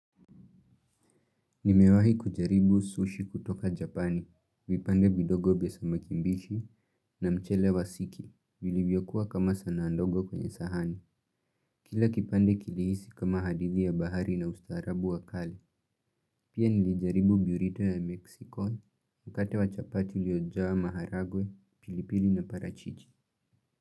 Nimewahi kujaribu sushi kutoka japani, vipande vidogo vya samaki mbichi na mchele wa sigi, vilivyokuwa kama sanaa ndogo kwenye sahani. Kila kipande kilihisi kama hadithi ya bahari na ustaarabu wa kale. Pia nilijaribu biurito ya meksiko mkate wa chapati uliojaa maharagwe, pilipili na parachiji.